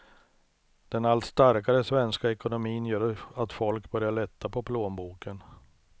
Den allt starkare svenska ekonomin gör att folk börjar lätta på plånboken.